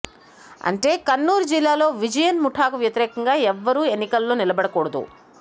అంటే కన్నూరు జిల్లాలో విజయన్ ముఠాకు వ్యతిరేకంగా ఎవరూ ఎన్నికలలో నిలబడకూడదు